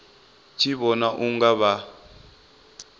tshi vhona u nga vha